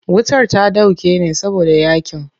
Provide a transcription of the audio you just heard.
Wutar ta dauke ne saboda yaƙin.